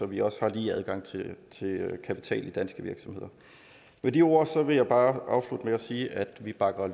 vi også har lige adgang til kapital i danske virksomheder med de ord vil jeg bare afslutte med at sige at vi bakker